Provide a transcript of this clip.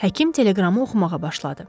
Həkim teleqramı oxumağa başladı.